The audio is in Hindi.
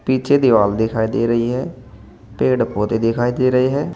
पीछे दीवाल दिखाई दे रही है पेड़ पौधे दिखाई दे रहे हैं।